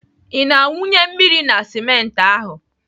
Ị na-awụnye mmiri na simenti ahụ?